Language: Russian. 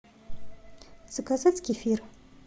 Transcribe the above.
заказать кефир